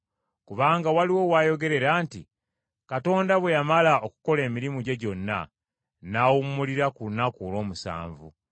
Kubanga waliwo w’ayogerera nti, “Katonda bwe yamala okukola emirimu gye gyonna n’awummulira ku lunaku olw’omusanvu.”